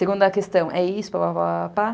Segunda questão, é isso, pá, pá, pá, pá, pá.